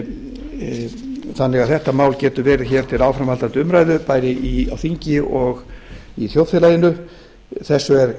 þannig að þetta mál geti verið til áframhaldandi umræðu bæði á þingi og í þjóðfélaginu þessu